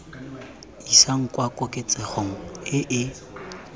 isang kwa koketsegong e e